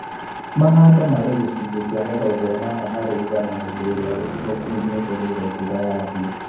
Mahanda marĩ gicunjĩ kĩa mĩrongo ĩnana harĩ igana hĩndĩ ĩrĩa gĩcigo kĩu gĩetereire mbura yambie